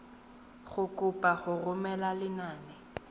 go kopa go romela lenane